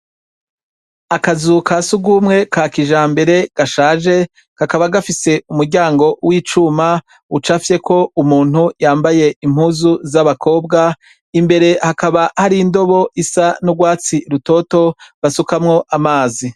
Akazu ka sugumwe ka kijambere gashaje gakaba gafise umuryango w'icuma ucafye ko umuntu yambaye impuzu z'abakobwa imbere hakaba hari indobo isa n'urwatsi rutoto basukamwo amazi.